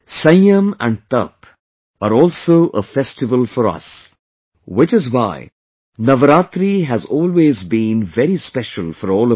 Sanyam and Tap are also a festival for us, which is why Navratri has always been very special for all of us